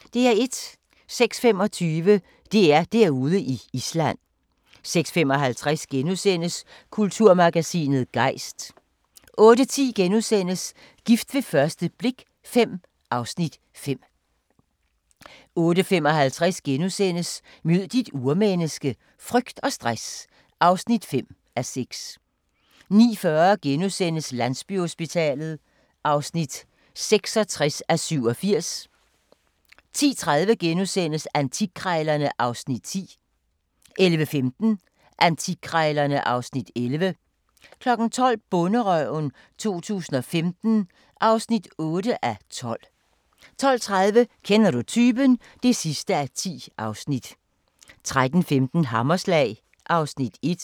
06:25: DR-Derude i Island 06:55: Kulturmagasinet Gejst * 08:10: Gift ved første blik V (Afs. 5)* 08:55: Mød dit urmenneske - frygt og stress (5:6)* 09:40: Landsbyhospitalet (66:87)* 10:30: Antikkrejlerne (Afs. 10) 11:15: Antikkrejlerne (Afs. 11) 12:00: Bonderøven 2015 (8:12) 12:30: Kender du typen? (10:10) 13:15: Hammerslag (Afs. 1)